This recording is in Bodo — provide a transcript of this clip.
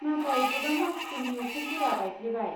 नाथाय गोबां मानसिफोरनि उखुमफोरा बायफ्लेबाय।